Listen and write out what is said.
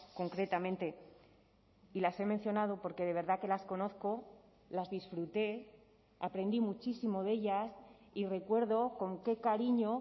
concretamente y las he mencionado porque de verdad que las conozco las disfruté aprendí muchísimo de ellas y recuerdo con qué cariño